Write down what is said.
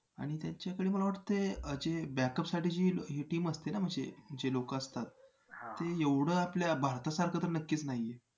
आणि त्यांच्याकडे मला वाटतंय अं जे backup साठी जी ही team असते ना म्हणजे जे लोकं असतात ते एवढं आपल्या भारतसारखं तर नक्कीच नाही आहेत.